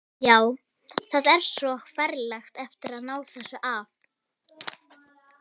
Já, það er svo ferlega erfitt að ná þessu af.